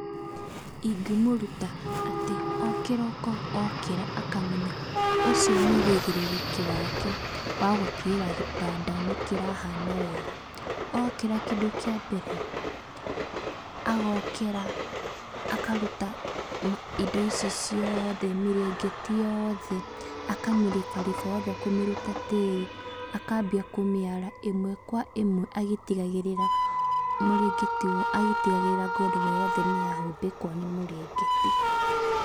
Ingĩmũruta atĩ o kĩroko okĩra akamenya ũcio nĩ ũigĩrĩrĩki wake wa gũtigĩrĩra gĩtanda nĩ kĩrahana wega. Okĩra kĩndũ kĩa mbere, agokĩra, akaruta indo ici ciothe, mĩrengeti yothe, akamĩribariba kũmĩruta tĩri, akambia kũmĩara ĩmwe kwa ĩmwe agĩtigagĩrira, agĩtigagĩrira ngondoro yothe nĩ yahumbĩkwo nĩ mũrengeti.